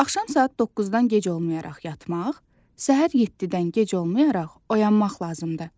Axşam saat 9-dan gec olmayaraq yatmaq, səhər 7-dən gec olmayaraq oyanmaq lazımdır.